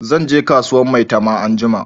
Zan je kasuwan maitama anjima